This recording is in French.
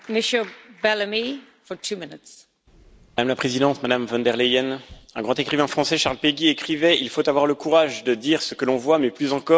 Madame la Présidente, Madame von der Leyen, un grand écrivain français, Charles Péguy, écrivait Il faut avoir le courage de dire ce que l'on voit mais, plus encore, il faut avoir le courage de voir ce que l'on voit.